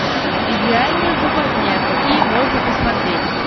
идеальная западня какие можно посмотреть